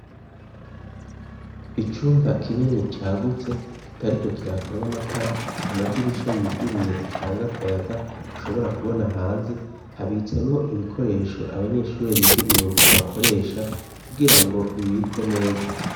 Icumba kinini cagutse kitariko kirakamwa amatara amadirisha yuguruye atanga akayaga ushobora kubona hanze habitsemwo ibikoresho abanyeshuri biga imyuga bakoresha kugira ngo bibikwe neza.